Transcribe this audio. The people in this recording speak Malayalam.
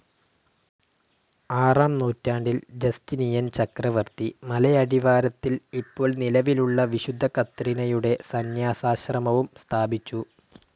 ആറാം നൂറ്റാണ്ടിൽ ജസ്റ്റിനിയൻ ചക്രവർത്തി മലയടിവാരത്തിൽ ഇപ്പോൾ നിലവിലുള്ള വിശുദ്ധ കത്രീനയുടെ സന്യാസാശ്രമവും സ്ഥാപിച്ചു.